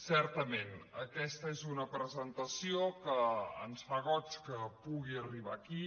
certament aquesta és una presentació que ens fa goig que pugui arribar aquí